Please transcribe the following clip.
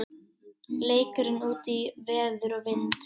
Leikurinn útí veður og vind